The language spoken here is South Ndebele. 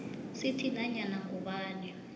sithi nanyana ngubani